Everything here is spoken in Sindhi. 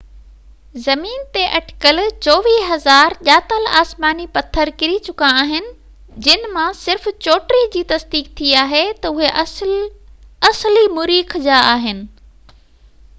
زمين تي اٽڪل 24،000 ڄاتل آسماني پٿر ڪري چڪا آهن جن مان صرف 34 جي تصديق ٿي آهي تہ اهي اصلي مريخ جا آهن